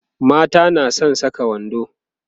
mata na San Saka wando